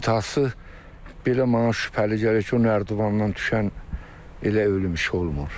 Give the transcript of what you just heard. İntihası belə mənə şübhəli gəlir ki, o nərdivandan düşən elə ölüm işi olmur.